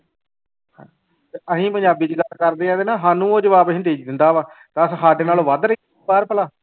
ਅਸੀਂ ਪੰਜਾਬੀ ਚ ਗੱਲ ਕਰਦੇ ਹਾਂ ਨਾ ਤੇ ਸਾਨੂੰ ਉਹ ਜਵਾਬ ਹਿੰਦੀ ਚ ਦਿੰਦਾ ਵਾ, ਦੱਸ ਸਾਡੇ ਨਾਲੋਂ ਵੱਧ ਭਲਾ